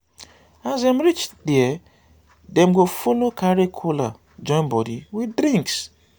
as dem reach dia dem go follow carry kola join body with drinks